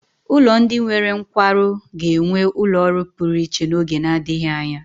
Ụlọ ndị nwere nkwarụ ga-enwe ụlọ ọrụ pụrụ iche n'oge na-adịghị anya.